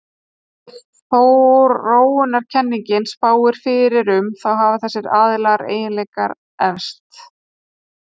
Eins og þróunarkenningin spáir fyrir um, þá hafa þessir og aðrir eiginleikar erfst.